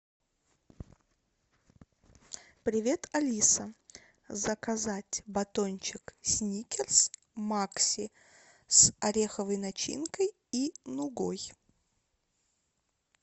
привет алиса заказать батончик сникерс макси с ореховой начинкой и нугой